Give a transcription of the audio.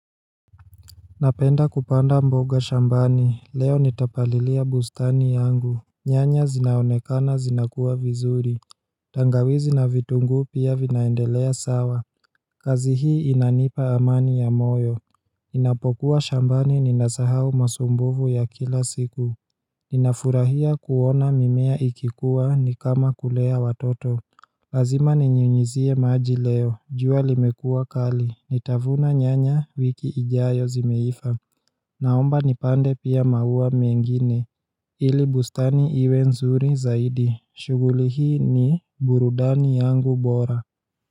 Napenda kupanda mboga shambani, leo nitapalilia bustani yangu nyanya zinaonekana zinakuwa vizuri tangawizi na vitungu pia vinaendelea sawa kazi hii inanipa amani ya moyo ninapokuwa shambani ninasahau masumbuvu ya kila siku Ninafurahia kuona mimea ikikuwa ni kama kulea watoto Lazima ninyunyizie maji leo, jua limekua kali, nitavuna nyanya wiki ijayo zimeifa Naomba nipande pia maua mengine ili bustani iwe nzuri zaidi shughuli hii ni burudani yangu bora.